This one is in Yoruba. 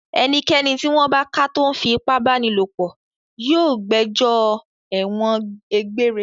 Ẹnikẹ́ni tí wọ́n bá ká tó ń fi ipá báni lòpọ̀ yóò gbẹjọ́ ẹ̀wọ̀n egbére.